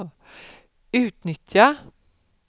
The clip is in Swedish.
utnyttja